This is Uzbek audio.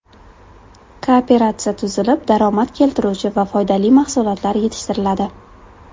Kooperatsiya tuzilib, daromad keltiruvchi va foydali mahsulotlar yetishtiriladi.